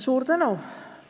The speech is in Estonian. Suur tänu!